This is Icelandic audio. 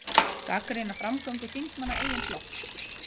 Gagnrýna framgöngu þingmanna eigin flokks